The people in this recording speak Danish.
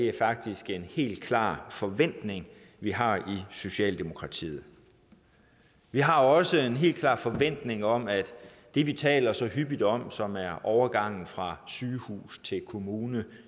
er faktisk en helt klar forventning vi har i socialdemokratiet vi har også en helt klar forventning om at man det vi taler så hyppigt om som er overgangen fra sygehus til kommune